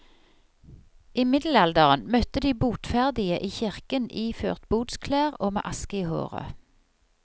I middelalderen møtte de botferdige i kirken iført botsklær og med aske i håret.